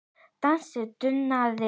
Dansinn dunaði.